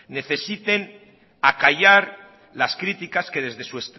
necesiten acallar las críticas que desde su